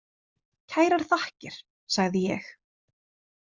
Kærar þakkir, sagði ég.